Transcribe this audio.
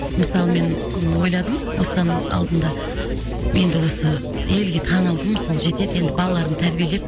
мысалы мен ойладым осыдан алдында енді осы елге танылдым сол жетеді енді балаларымды тәрбиелеп